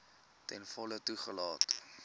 ten volle toegelaat